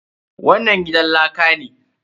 Wannan gidan laka ne?